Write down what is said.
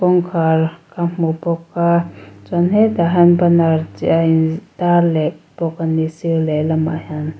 kawngkhar ka hmu bawk a chuan hetah hian banner cheh a intar leh bawk a ni sir lehlamah hian.